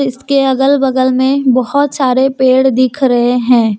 इसके अगल बगल में बहुत सारे पेड़ दिख रहे हैं।